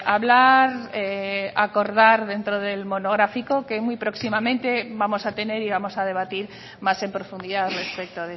hablar acordar dentro del monográfico que muy próximamente vamos a tener y vamos a debatir más en profundidad respecto